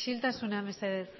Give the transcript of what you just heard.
isiltasuna mesedez